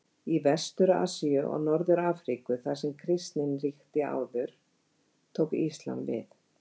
Í Vestur-Asíu og Norður-Afríku þar sem kristnin ríkti áður tók íslam við.